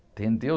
Entendeu?